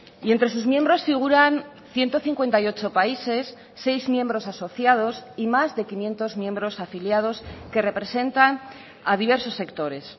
y entre sus miembros figuran ciento cincuenta y ocho países seis miembros asociados y más de quinientos miembros afiliados que representan a diversos sectores